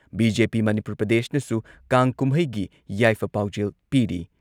BJP. Manipur ꯄ꯭ꯔꯗꯦꯁꯅꯁꯨ ꯀꯥꯡ ꯀꯨꯝꯍꯩꯒꯤ ꯌꯥꯏꯐ ꯄꯥꯎꯖꯦꯜ ꯄꯤꯔꯤ ꯫